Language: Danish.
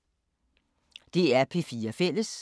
DR P4 Fælles